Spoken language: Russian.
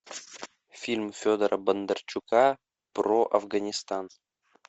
фильм федора бондарчука про афганистан